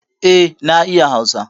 Eh na iya hausa